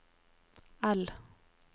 L